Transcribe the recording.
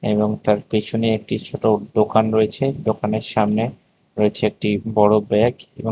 এবং তার পেছনে একটি ছোট দোকান রয়েছে দোকানের সামনে রয়েছে একটি বড় ব্যাগ এবং --